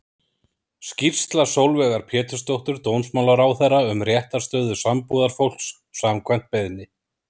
Skýrsla Sólveigar Pétursdóttur dómsmálaráðherra um réttarstöðu sambúðarfólks, samkvæmt beiðni.